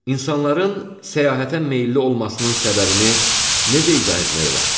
İnsanların səyahətə meyilli olmasının səbəbini necə izah etmək olar?